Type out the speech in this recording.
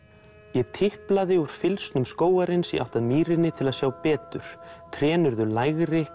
ég tiplaði úr fylgsnum skógarins í átt að mýrinni til að sjá betur trén urðu lægri